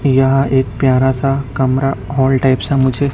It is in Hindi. यहां एक प्यार सा कमरा हॉल टाइप सा मुझे--